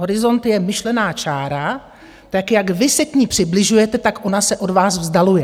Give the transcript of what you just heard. Horizont je myšlená čára, tak jak vy se k ní přibližujete, tak ona se od vás vzdaluje.